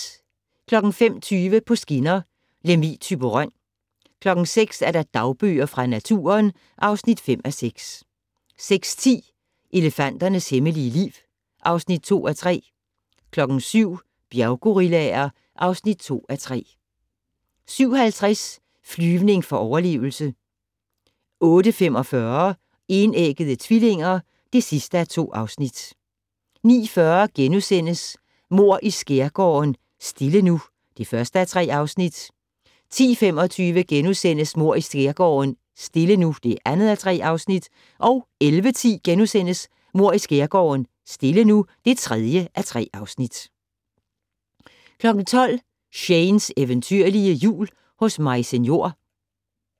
05:20: På skinner: Lemvig - Thyborøn 06:00: Dagbøger fra naturen (5:6) 06:10: Elefanternes hemmelige liv (2:3) 07:00: Bjerggorillaer (2:3) 07:50: Flyvning for overlevelse 08:45: Enæggede tvillinger (2:2) 09:40: Mord i Skærgården: Stille nu (1:3)* 10:25: Mord i skærgården: Stille nu (2:3)* 11:10: Mord i Skærgården: Stille nu (3:3)* 12:00: Shanes eventyrlige Jul hos Maise Njor